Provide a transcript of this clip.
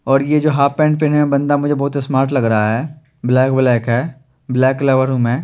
और ये जो हाफ पहनते हे बंदा मुझे बोहोत स्मार्ट लग रहा हे ब्लेक ब्लेक हे ब्लेक लवर हु में --